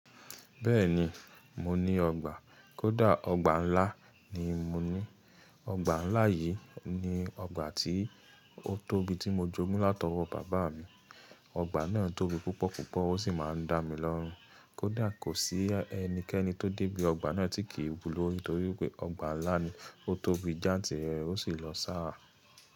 Bẹ́ẹ̀ni, mo ní ọgbà, kódà ọgbà ńlá ni mo ní. Ọgbà ńlá yìí ni ọgbà tí ó tóbi tí mo jogún látọwọ́ bàbá mi. Ọgbà náà tóbi púpọ̀ púpọ̀ ó sì máa ń dá mi lọ́run. Kódà kò sí ẹnikẹ́ni tó débí ọgbà náà tí kì í wulòrí torí pé ọgbà ńlá ni, ó tóbi jantirẹ̀rẹ, ó sì lọ sára.